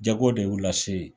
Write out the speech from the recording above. Jago de y'u lase yen.